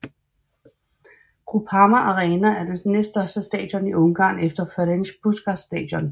Groupama Arena er det næststørste stadion i Ungarn efter Ferenc Puskás Stadion